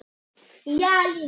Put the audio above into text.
Það voraði snemma.